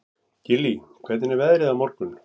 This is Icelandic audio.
Gillý, hvernig er veðrið á morgun?